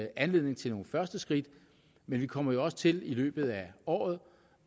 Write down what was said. anledning til de første skridt men vi kommer også til i løbet af året